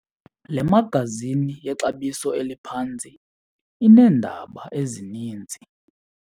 Le magazini yexabiso eliphantsi ineendaba ezininzi.